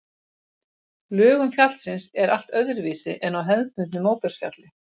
Lögun fjallsins er allt öðruvísi en á hefðbundnu móbergsfjalli.